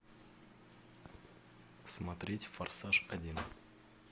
смотреть форсаж один